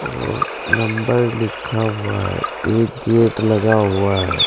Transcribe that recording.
और नंबर लिखा हुआ है एक गेट लगा हुआ है।